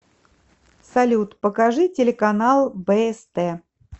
салют покажи телеканал бст